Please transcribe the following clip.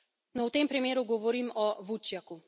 No, v tem primeru govorim o Vučjaku.